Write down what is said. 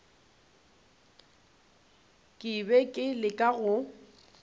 ke be ke leka go